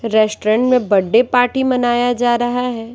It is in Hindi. रेस्टोरेंट में बर्थडे पार्टी मनाया जा रहा है।